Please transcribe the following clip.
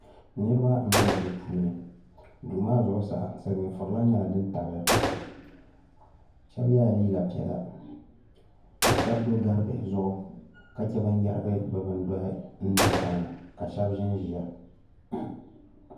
Niriba n bɛ duu puuni duu maa zuɣusaa silimiin furila nyɛla dini tabiya shɛba ye la liiga piɛlla ka shɛba do gari bihi zuɣu ka chɛ bani yɛrigi bi bini dɔhi n do tiŋa ka shɛba zi n ziya.